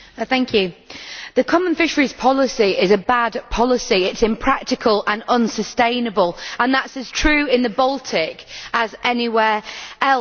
Madam President, the Common Fisheries Policy is a bad policy. It is impractical and unsustainable and that is as true in the Baltic as anywhere else.